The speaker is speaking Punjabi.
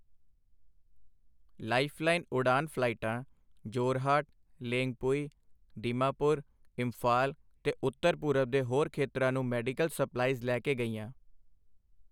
ਲਾਈਫ਼ਲਾਈਨ ਉਡਾਨ ਫ਼ਲਾਈਟਾਂ ਜੋਰਹਾਟ, ਲੇਂਗਪੁਈ, ਦੀਮਾਪੁਰ, ਇੰਫ਼ਾਲ ਤੇ ਉੱਤਰ ਪੂਰਬ ਦੇ ਹੋਰ ਖੇਤਰਾਂ ਨੂੰ ਮੈਡੀਕਲ ਸਪਲਾਈਜ਼ ਲੈ ਕੇ ਗਈਆਂ